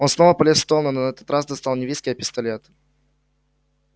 он снова полез в стол но на этот раз достал не виски а пистолет